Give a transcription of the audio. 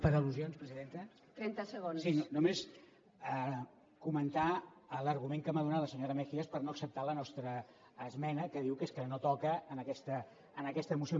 per al·lusions presidenta sí només comentar l’argument que m’ha donat la senyora mejías per no acceptar la nostra esmena que diu que és que no toca en aquesta moció